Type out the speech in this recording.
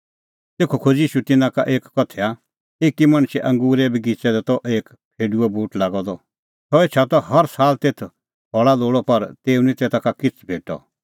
तेखअ खोज़ी ईशू तिन्नां का एक उदाहरण एकी मणछे अंगूरे बगिच़ै दी त एक फेडूओ बूट लागअ द सह एछा त हर साल तेथ फल़ा लोल़अ पर तेऊ निं तेता का किछ़ भेटअ